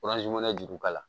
juru ka la